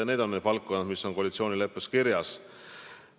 Need on valdkonnad, mis on koalitsioonileppes kirjas.